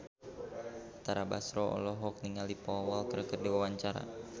Tara Basro olohok ningali Paul Walker keur diwawancara